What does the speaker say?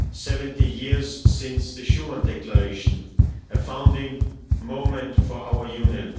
70 years since the Schuman Declaration, a founding moment for our Union.